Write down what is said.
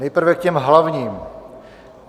Nejprve k těm hlavním.